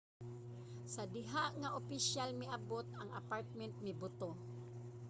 sa diha nga ang opisyal miabot ang apartment mibuto